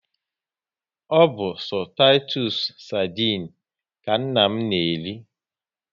Ọ bụ sọ Titusu sardinu ka nna m na eri